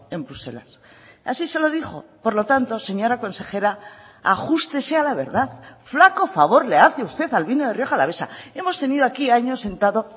en bruselas así se lo dijo por lo tanto señora consejera ajústese a la verdad flaco favor le hace usted al vino de rioja alavesa hemos tenido aquí años sentado